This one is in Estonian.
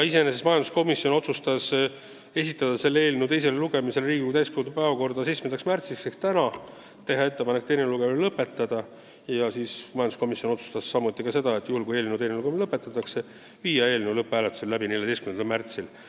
Majanduskomisjon otsustas esitada selle eelnõu teiseks lugemiseks Riigikogu täiskogu istungi päevakorda 7. märtsiks ehk tänaseks, teha ettepaneku teine lugemine lõpetada ja kui teine lugemine lõpetatakse, viia eelnõu lõpphääletus läbi 14. märtsil.